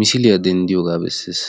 photuwaa dendiyoga bessesi.